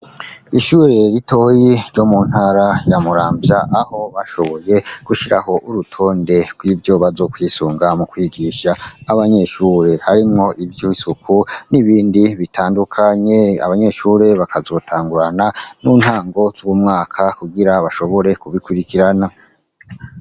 Ishure ritoyi ryo mu ntara ya Muramvya aho bashoboye gushiraho urutonde rwivyo bazo kwisunga mu kwigisha abanyeshure harimwo ivyisuku n'ibindi bitandukanye abanyeshure bakazotangurana nintango zumwaka kugirango bashobore kubikurikirana.